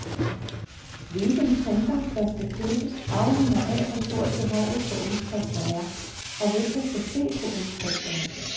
Hvilken printer, der skal købes, afhænger af, hvor stort behovet for udskrifter er, og hvem der skal se på udskrifterne.